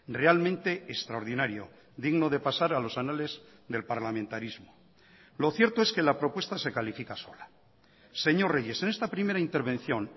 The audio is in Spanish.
realmente extraordinario digno de pasar a los anales del parlamentarismo lo cierto es que la propuesta se califica sola señor reyes en esta primera intervención